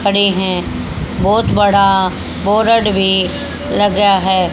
खड़े हैं। बहोत बड़ा बोर्ड भी लगा है।